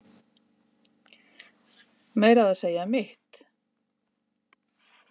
Meira að segja mitt